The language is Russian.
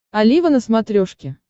олива на смотрешке